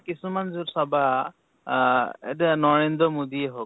কিছুমান চাবা আ এতিয়া নৰেদ্ৰ মোদীয়ে হৌক